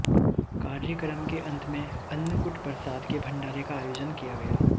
कार्यक्रम के अंत में अन्नकूट प्रसाद के भण्डारे का आयोजन किया गया